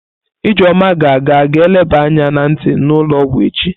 Ijeoma ga-aga ga eleba anya na nti n'ulo ogwu echi.